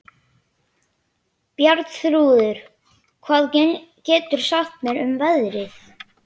Bjarnþrúður, hvað geturðu sagt mér um veðrið?